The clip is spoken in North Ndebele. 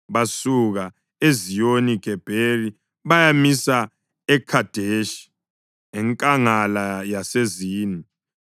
Basuka e-Eziyoni-Gebheri bayamisa eKhadeshi, eNkangala yaseZini.